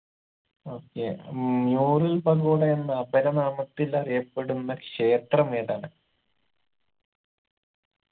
okay ഉം നൂറിൻ പഗോഡയെന്ന അപരനാമത്തിൽ അറിയപ്പെടുന്ന ക്ഷേത്രം ഏതാണ്